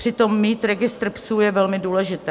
Přitom mít registr psů je velmi důležité.